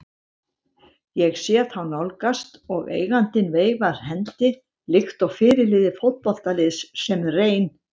Ég sé þá nálgast og eigandinn veifar hendi líkt og fyrirliði fótboltaliðs sem reyn